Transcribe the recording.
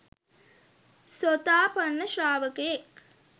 සෝතාපන්න ශ්‍රාවකයෙක්